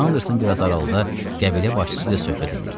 Anderson biraz aralıda qəbilə başçısı ilə söhbət eləyirdi.